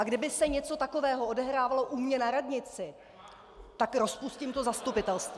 A kdyby se něco takového odehrávalo u mě na radnici , tak rozpustím to zastupitelstvo.